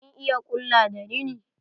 Kin iya ƙulla da rina?